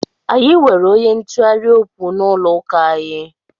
Anyị nwere onye ntụgharị okwu n'ụlọ ụka anyị.